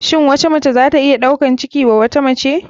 Shin wata mace zata iya ɗaukar ciki wa wata mace.